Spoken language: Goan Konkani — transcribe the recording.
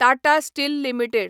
Tata steel limited